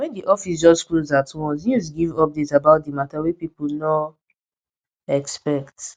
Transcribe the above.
wen di office just close at once news give update about di matter wey people no expect